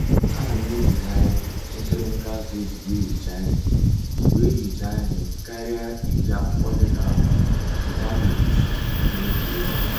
A na m ejighari nkirinka akwa ejibu ehicha ihe wee hichaa ihe karịa iji akwụkwọ dịka akwa nke a ga etufu n'otu oge.